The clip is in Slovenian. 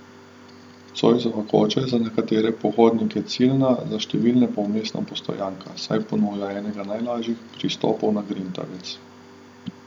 Cojzova koča je za nekatere pohodnike ciljna, za številne pa vmesna postojanka, saj ponuja enega najlažjih pristopov na Grintavec.